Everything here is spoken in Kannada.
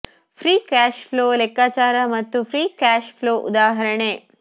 ಫ್ರೀ ಕ್ಯಾಶ್ ಫ್ಲೋ ಲೆಕ್ಕಾಚಾರ ಮತ್ತು ಫ್ರೀ ಕ್ಯಾಶ್ ಫ್ಲೋ ಉದಾಹರಣೆ